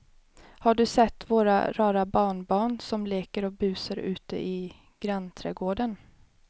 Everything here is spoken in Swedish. Har du sett våra rara barnbarn som leker och busar ute i grannträdgården!